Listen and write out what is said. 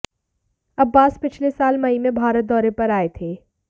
अब्बास पिछले साल मई में भारत दौरे पर आए थे